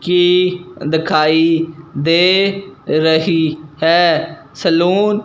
की दखाई दे रही है सलून --